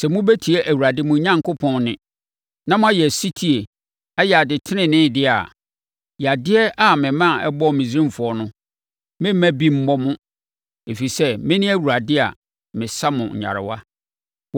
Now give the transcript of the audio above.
“Sɛ mobɛtie Awurade mo Onyankopɔn nne, na moayɛ ɔsetie, ayɛ ade tenenee deɛ a, yadeɛ a mema ɛbɔɔ Misraimfoɔ no, meremma bi mmɔ mo, ɛfiri sɛ, mene Awurade a mesa mo nyarewa.”